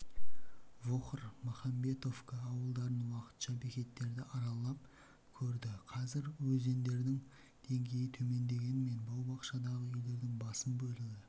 вохр махамбетовка ауылдарын уақытша бекеттерді аралап көрді қазір өзендердің деңгейі төмендегенімен бау-бақшадағы үйлердің басым бөлігі